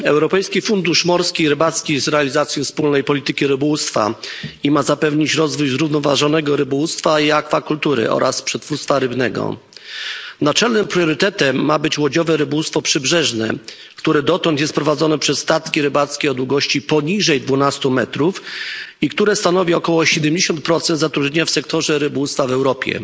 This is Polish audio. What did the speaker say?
Europejski Fundusz Morski i Rybacki z realizacji wspólnej polityki rybołówstwa ma zapewnić rozwój zrównoważonego rybołówstwa i akwakultury oraz przetwórstwa rybnego. Naczelnym priorytetem ma być łodziowe rybołówstwo przybrzeżne, które dotąd jest prowadzone przez statki rybackie o długości poniżej 12 m i które stanowi około 70 zatrudnienia w sektorze rybołówstwa w Europie.